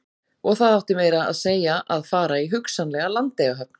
Og það átti meira að segja að fara í hugsanlega Landeyjahöfn?